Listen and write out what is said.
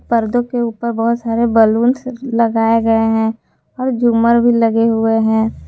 पर्दों के ऊपर बहोत सारे बलुन्स लगाए गए हैं और झूमर भी लगे हुए हैं।